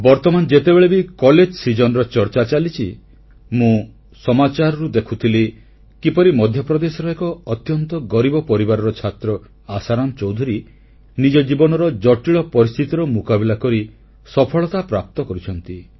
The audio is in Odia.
ବର୍ତ୍ତମାନ ଯେତେବେଳେ ବି କଲେଜ ସିଜନର ଚର୍ଚ୍ଚା ଚାଲିଛି ମୁଁ ସମାଚାରରୁ ଦେଖୁଥିଲି କିପରି ମଧ୍ୟପ୍ରଦେଶର ଏକ ଅତ୍ୟନ୍ତ ଗରିବ ପରିବାରର ଛାତ୍ର ଆଶାରାମ ଚୌଧୁରୀ ନିଜ ଜୀବନର ଜଟିଳ ପରିସ୍ଥିତିର ମୁକାବିଲା କରି ସଫଳତା ପ୍ରାପ୍ତ କରିଛନ୍ତି